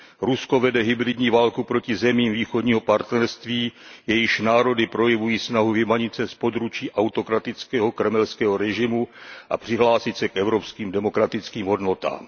Rusko vede hybridní válku proti zemím Východního partnerství, jejichž národy projevují snahu vymanit se z područí autokratického kremelského režimu a přihlásit se k evropským demokratickým hodnotám.